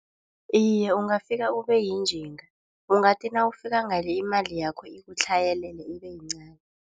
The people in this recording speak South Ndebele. Iye ungafika ubayinjinga ungathi nawufika ngale imali yakho ikuphi utlhayelelwe ibe yincani.